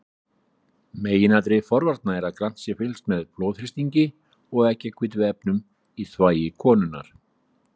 Meginatriði forvarna er að grannt sé fylgst með blóðþrýstingi og eggjahvítuefnum í þvagi konunnar.